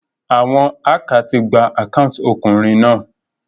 Àwon hacker ti gba account okùnrin náà